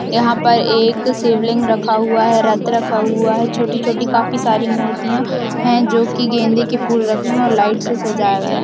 यहां पर एक शिवलिंग रखा हुआ है रथ रखा हुआ है छोटी-छोटी काफी सारी मूर्तिया जोके गेंदे के फूल रखे है और लाइट से सजाया गया है।